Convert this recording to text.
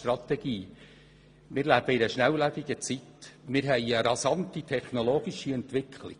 Wir befinden uns in einer schnelllebigen Zeit, mit einer rasanten technologischen Entwicklung.